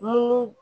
Mun